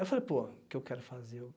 Eu falei, pô, o que eu quero fazer?